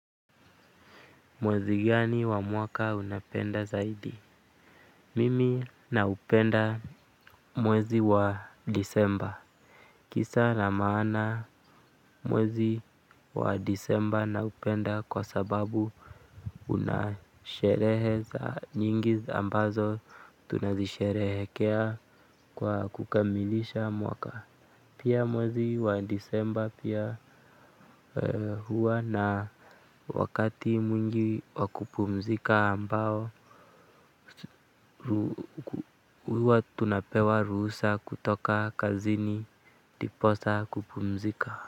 Mwezi gani wa mwaka unapenda zaidi? Mimi naupenda mwezi wa Disemba. Kisa na maana mwezi wa Disemba naupenda kwa sababu una sherehe za nyingi ambazo tunazisherehekea kwa kukamilisha mwaka. Pia mwezi wa Disemba pia huwa na wakati mwingi wa kupumzika ambao, huwa tunapewa ruhusa kutoka kazini ndiposa kupumzika.